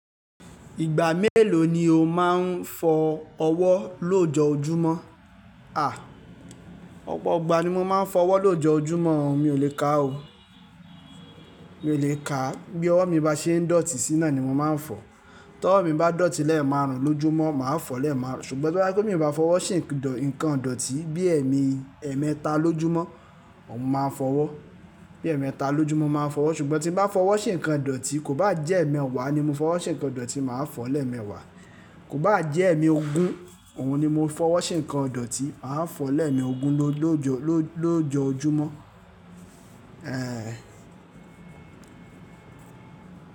Ìgbà mélòó ni o máa ń fọ ọwọ́ lójoojúmọ́? Àh, ọ̀pọ̀ igbà ni mo máa ń fọ ọwọ́ lójoojúmọ́, mi ò lè ká ò. Mi ò lè ká. Bí ọwọ́ mi bá ṣe ń dọ̀tí síná ni mo máa ń fọ. Tí ọwọ́ mi bá dọ̀tí lẹ́ẹ̀marun lójúmọ́, màá fọ lẹ́ẹ̀marun. Ṣùgbọ́n tí o bá je wi pe mi bá fọwọ́ se ǹkan dọ̀tí bí ẹ̀mẹta lójúmọ́, òun máa fọwọ́. Bí ẹ̀mẹta lójúmọ́ mo máa fọwọ́, ṣùgbọ́n tí bá fọwọ́ sí ǹkan dọ̀tí, kò bá jẹ́ ẹ̀ẹ̀mẹwàá ni mo fọwọ́ sí ǹkan dọ̀tí, màá fọ lẹ́ẹ̀mẹwàá. Kò bá jẹ́ ẹ̀mee ogún, òun ni mo fọwọ́ sí ǹkan dọ̀tí, màá fọ lẹ́ẹ̀me ogún lójoojúmọ́. Eeh.